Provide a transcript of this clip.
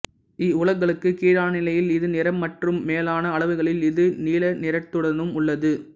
இவ்வலவுகளுக்கு கீழான நிலையில் இது நிறமற்றும் மேலான அளவுகளில் இது நீல நிறத்துடனும் உள்ளது